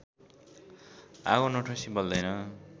आगो नठोसी बल्दैन